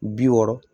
Bi wɔɔrɔ